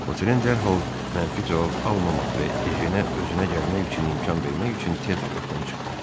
Votren dərhal mənfi cavab almamaq və Ejenə özünə gəlmək üçün imkan vermək üçün tez otaqdan çıxdı.